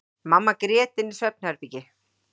Mamma grét inni í svefnherbergi.